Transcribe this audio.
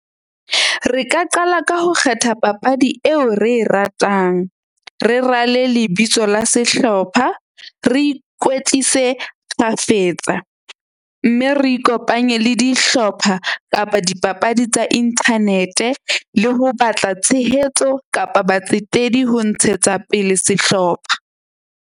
Re ka qala ka ho kgetha papadi eo re e ratang. Re rale lebitso la sehlopha. Re ikwetlise kgafetsa. Mme re ikopanye le dihlopha kapa dipapadi tsa internet-e le ho batla tshehetso kapa batsetedi ho ntshetsa pele sehlopha.